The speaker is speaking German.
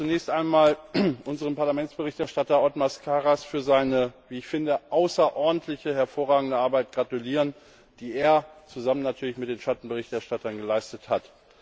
Ich möchte zunächst einmal unserem Parlamentsberichterstatter Othmar Karas für seine wie ich finde außerordentliche, hervorragende Arbeit gratulieren, die er zusammen mit den Schattenberichterstattern geleistet hat.